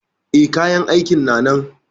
E, kayan aikin na nan.